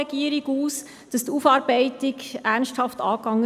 Will die Kommissionssprecherin noch einmal etwas sagen?